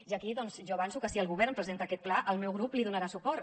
i aquí doncs jo avanço que si el govern presenta aquest pla el meu grup li donarà suport